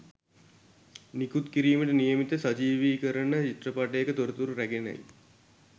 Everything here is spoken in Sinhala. නිකුත් කිරීමට නියමිත සජීවිකරණ චිත්‍රපටයක තොරතුරු රැගෙනයි